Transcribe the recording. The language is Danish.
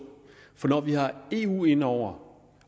når vi har eu ind over